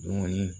Dumuni